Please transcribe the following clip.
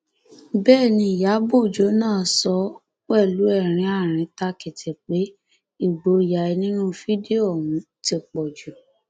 bẹẹ ni ìyàbọ ọjọ náà sọ pẹlú ẹrín àríntàkìtì pé ìgboyà ẹ nínú fídíò ọhún ti pọ jù